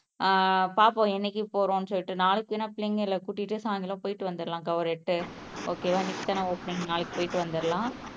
ஆஹ் பாப்போம் என்னைக்கு போறோம்னு சொல்லிட்டு நாளைக்கு வேண்ணா பிள்ளைங்கள கூட்டிட்டு சாயந்திரம் போயிட்டு வந்திரலாம் ஒரு எட்டு ஓகே வா இன்னைக்குதான ஒப்பனிங் நாளைக்கு போயிட்டு வந்திரலாம்